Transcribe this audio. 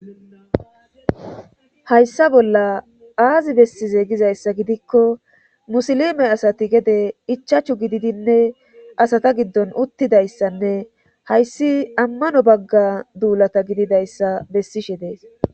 hayssa bolla aazi bessize gizayssa gidikko musilime asati gede ichachu gididinne asata giddon uttidayssanne hayssi ammano bagga duulata gididayssa bessishe dees